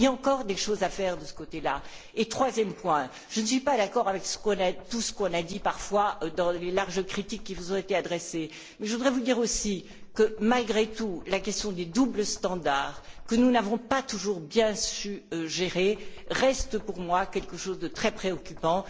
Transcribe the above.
Il y a encore des choses à faire sur ce point. Troisième point je ne suis pas d'accord avec tout ce qu'on a dit, parfois, dans les larges critiques qui vous ont été adressées, mais je voudrais vous dire aussi que, malgré tout, la question des deux poids deux mesures, que nous n'avons pas toujours bien su gérer, reste pour moi quelque chose de très préoccupant.